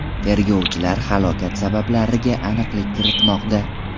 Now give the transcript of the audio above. Tergovchilar halokat sabablariga aniqlik kiritmoqda.